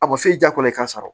A bɔ so diya ko i k'a sara